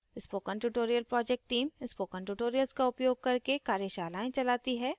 spoken tutorial project team spoken tutorials का उपयोग करके कार्यशालाएं चलाती है